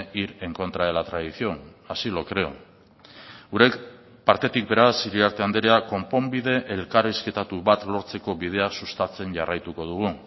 ir en contra de la tradición así lo creo gure partetik beraz iriarte andrea konponbide elkarrizketatu bat lortzeko bidea sustatzen jarraituko dugu